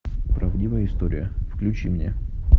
правдивая история включи мне